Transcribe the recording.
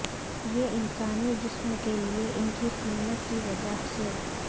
یہ انسانی جسم کے لئے ان کی قیمت کی وجہ سے